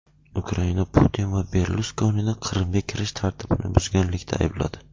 Ukraina Putin va Berluskonini Qrimga kirish tartibini buzganlikda aybladi.